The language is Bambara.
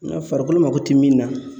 Ng ka farikolo mako ti min na